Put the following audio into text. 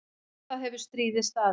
Um það hefur stríðið staðið.